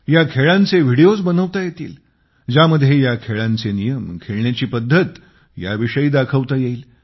या खेळांचे व्हिडिओज बनवता येतील ज्यामध्ये ह्या खेळांचे नियम खेळण्याची पद्धत याविषयी दाखवता येईल